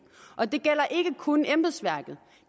og det gælder ikke kun embedsværket